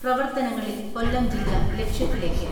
പ്രവർത്തനങ്ങളിൽ കൊല്ലം ജില്ല ലക്ഷ്യത്തിലേക്ക്.